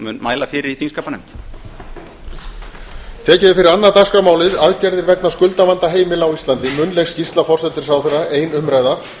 tekið er fyrir annað dagskrármálið aðgerðir vegna skuldavanda heimila á íslandi munnleg skýrsla forsætisráðherra ein umræða